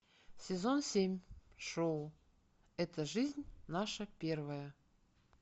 сезон семь шоу эта жизнь наша первая